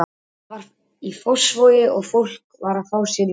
Það var í Fossvogi og fólk var að fá sér í glas.